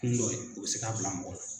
Kun dɔ ye o bɛ se k'a bila mɔgɔ la.